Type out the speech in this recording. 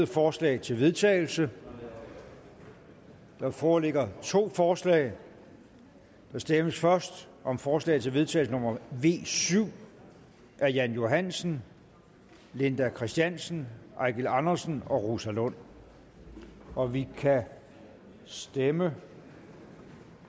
forslag til vedtagelse der foreligger to forslag der stemmes først om forslag til vedtagelse nummer v syv af jan johansen linda kristiansen eigil andersen og rosa lund og vi kan stemme